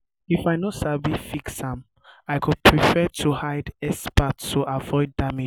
if i no sabi fix am i go prefer to hire expert to avoid damage.